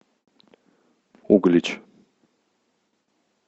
углич